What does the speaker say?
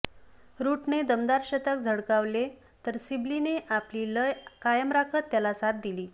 रूटने दमदार शतक झळकावले तर सिबलीने आपली लय कायम राखत त्याला साथ दिली